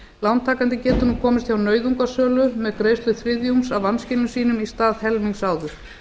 lántakandi getur nú komist hjá nauðungarsölu með greiðslu þriðjungs af vanskilum sínum í stað helmings áður